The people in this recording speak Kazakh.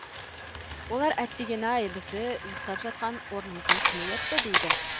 олар әттеген ай бізді ұйықтап жатқан орнымыздан кім оятты дейді